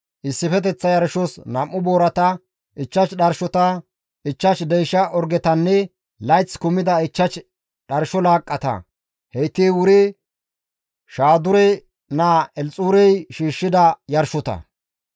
issifeteththa yarshos 2 boorata, 5 dharshota, 5 deysha orgetanne layth kumida 5 dharsho laaqqata; heyti wuri Shaadure naa Elxuurey shiishshida yarshota.